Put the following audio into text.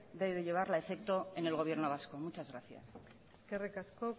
de llevarla a efecto en el gobierno vasco muchas gracias eskerri asko